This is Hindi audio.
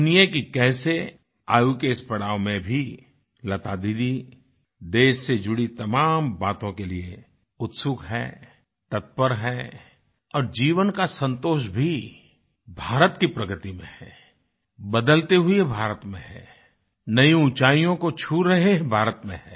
सुनिये कि कैसे आयु के इस पड़ाव में भी लता दीदी देश से जुड़ी तमाम बातों के लिये उत्सुक हैं तत्पर हैं और जीवन का संतोष भी भारत की प्रगति में है बदलते हुई भारत में है नई ऊंचाईयों को छू रहे भारत में है